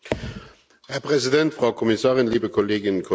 Herr Präsident, Frau Kommissarin, liebe Kolleginnen und Kollegen!